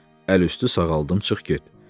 Əl üstü sağaldım, çıx get!